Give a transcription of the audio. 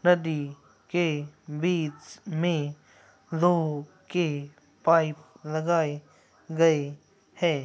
नदी के बीच मे के पाइप लगाए गए हैं |